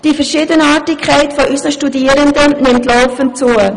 «Die Verschiedenartigkeit unserer Studierenden nimmt laufend zu.